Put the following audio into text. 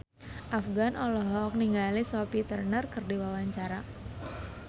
Afgan olohok ningali Sophie Turner keur diwawancara